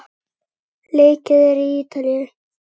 Leikið er í Ítalíu.